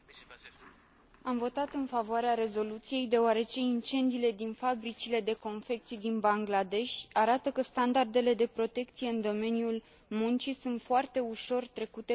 Am votat în favoarea rezoluției, deoarece incendiile din fabricile de confecții din Bangladesh arată că standardele de protecție în domeniul muncii sunt foarte ușor trecute cu vederea.